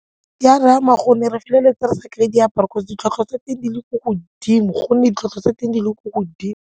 E a re ama gonne re feleletsa re sa kry-e diaparo 'cause ditlhwatlhwa tsa teng di le ko godimo gonne ditlhwatlhwa tsa teng di le ko godimo.